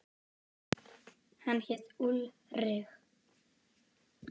Hann hét Ulrich.